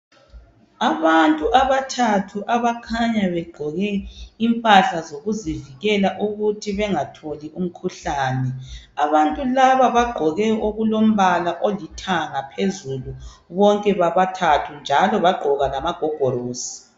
Abantu abathathu abakhanya begqoke impahla zokuzivikela ukuthi bengatholi umkhuhlane abantu laba bagqoke okulombala olithanga phezulu bonke bobathathu njalo bagqoka lamagogorosi